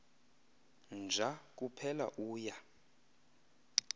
nja kuphela uya